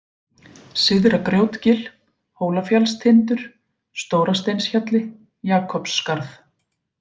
Syðra-Grjótgil, Hólafjallstindur, Stórasteinshjalli, Jakobsskarð